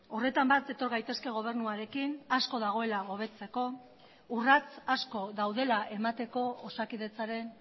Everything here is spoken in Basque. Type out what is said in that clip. horretan bat etor gaitezke gobernuarekin asko dagoela hobetzeko urrats asko daudela emateko osakidetzaren